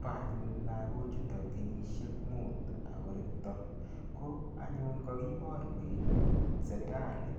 bo anyun lagochito kenyisiek mut ak korekto. Ko anyun kakibaruech sergali,